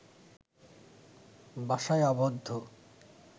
বাসায় আবদ্ধ